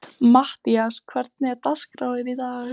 Mattías, hvernig er dagskráin í dag?